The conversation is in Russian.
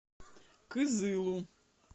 кызылу